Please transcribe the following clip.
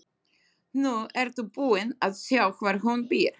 Nú ertu búin að sjá hvar hún býr.